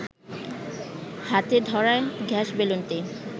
হাতে ধরা গ্যাস বেলুনটি